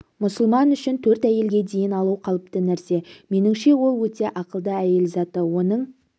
мұсылман үшін төрт әйелге дейін алу қалыпты нәрсе меніңше ол өте ақылды әйел заты оның